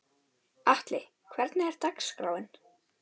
Atli, hvernig er dagskráin?